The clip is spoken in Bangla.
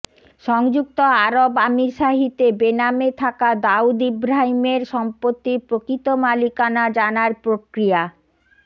সংযুক্ত আরব আমিরশাহিতে বেনামে থাকা দাউদ ইব্রাহিমের সম্পত্তির প্রকৃত মালিকানা জানার প্রক্রিয়া